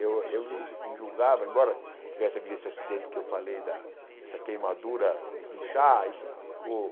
Eu eu me me julgava, embora tivesse havido esse acidente que eu falei, da essa queimadura com chá, isso ficou...